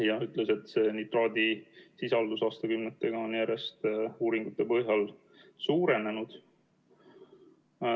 Ta ütles, et nitraadisisaldus on uuringute põhjal aastakümnetega järjest suurenenud.